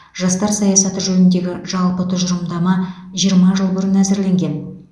жастар саясаты жөніндегі жалпы тұжырымдама жиырма жыл бұрын әзірленген